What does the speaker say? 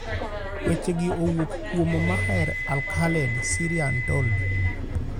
Wechegi owuok kuom: Maher Al-Khaled/SyriaUntold.